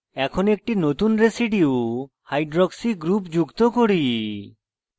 এখন একটি নতুন residuehydroxy oh group যুক্ত করি